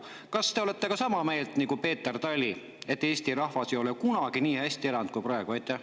Kas te olete sama meelt nagu Peeter Tali, et Eesti rahvas ei ole kunagi nii hästi elanud kui praegu?